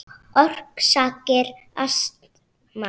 Orsakir astma